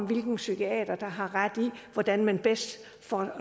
hvilken psykiater der har ret i hvordan man bedst